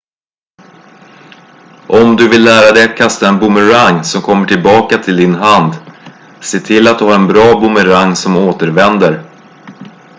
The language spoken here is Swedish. om du vill lära dig att kasta en boomerang som kommer tillbaka till din hand se till att du har en bra boomerang som återvänder